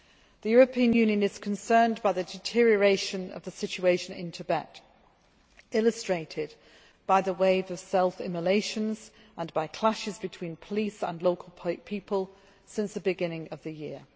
The European Union is concerned by the deterioration of the situation in Tibet, illustrated by the wave of self immolations and by clashes between police and local people since the beginning of the year.